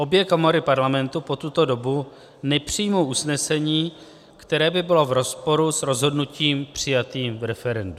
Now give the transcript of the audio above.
Obě komory Parlamentu po tuto dobu nepřijmou usnesení, které by bylo v rozporu s rozhodnutím přijatým v referendu.